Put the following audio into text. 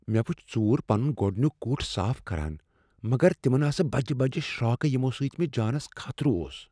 مےٚ وٕچھ ژوٗر پنن گۄڈنیک کُٹھ صاف کران، مگر تمن آسہٕ بجہ بجہ شرٛاکہٕ یمو سۭتۍ مےٚ جانَس خطرٕ اوس۔